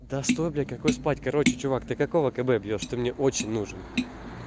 да стой блядь какой спать короче чувак ты какого кб бьёшь ты мне очень нужен